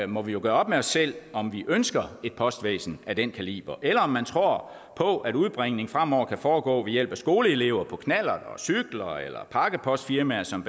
må vi jo gøre op med os selv om vi ønsker et postvæsen af den kaliber eller om man tror på at udbringning fremover kan foregå ved hjælp af skoleelever på knallerter og cykler eller pakkepostfirmaer som